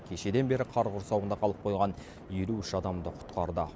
кешеден бері қар құрсауында қалып қойған елу үш адамды құтқарды